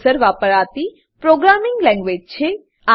આ એક સામાન્ય હેતુસર વપરાતી પ્રોગ્રામિંગ લેંગવેજ છે